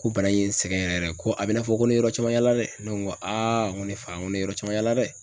Ko bana in ye n sɛgɛn yɛrɛ ko a bi i n'a fɔ ko ne ye yɔrɔ caman yala dɛ. Ne ko n ko aa n ko ne fa , n ko ne ye yɔrɔ caman yala dɛ.